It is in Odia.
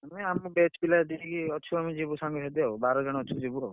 ନାଇ ଆମ batch ପିଲା ଯେତିକି ଅଛୁ ଆମେ ଯିବୁ ସାଙ୍ଗସାଥୀ ଆଉ ବାରଜଣ ଅଛୁ ଯିବୁ ଆଉ।